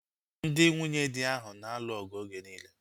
Ndị nwunyedi ahu na-alụ ọgụ oge niile